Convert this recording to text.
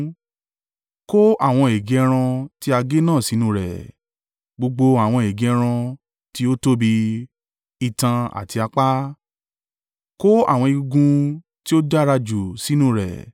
Kó àwọn ègé ẹran tí a gé náà sínú rẹ̀, gbogbo àwọn ègé ẹran tí ó tóbi, itan àti apá. Kó àwọn egungun tí ó dára jù sínú rẹ̀,